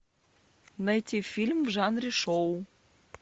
найти фильм в жанре шоу